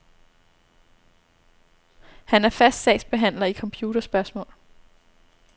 Han er fast sagsbehandler i computerspørgsmål.